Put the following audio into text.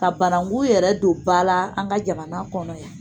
Ka bananku yɛrɛ don ba la an ka jamana kɔnɔ yan